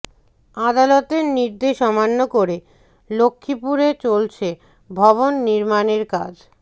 আদালতের নির্দেশ অমান্য করে লক্ষ্মীপুরে চলছে ভবন নির্মাণের কাজ